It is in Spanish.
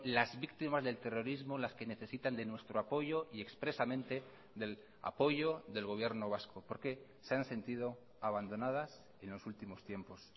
las víctimas del terrorismo las que necesitan de nuestro apoyo y expresamente del apoyo del gobierno vasco porque se han sentido abandonadas en los últimos tiempos